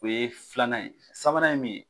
O ye filan ye sabanan ye min ye.